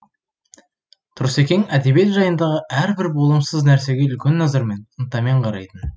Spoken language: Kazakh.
тұрсекең әдебиет жайындағы әр бір болымсыз нәрсеге үлкен назармен ынтамен қарайтын